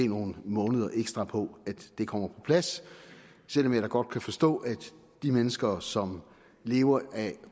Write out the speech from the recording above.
nogle måneder ekstra på at det kommer på plads selv om jeg da godt kan forstå at de mennesker som lever af